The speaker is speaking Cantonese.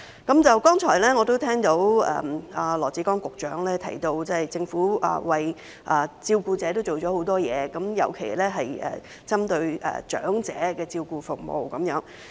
剛才我聽到羅致光局長提到政府為照顧者做了很多事，尤其是針對長者的照顧服務。